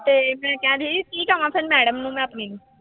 ਤੇ ਮੈਂ ਕਿਹਾ ਸੀ ਕੀ ਕਵਾਂ ਫਿਰ madam ਨੂੰ ਮੈਂ ਆਪਣੀ ਨੂੰ।